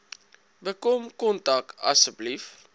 bekom kontak asseblief